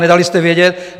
Nedali jste vědět.